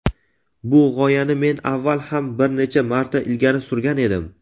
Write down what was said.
bu g‘oyani men avval ham bir necha marta ilgari surgan edim.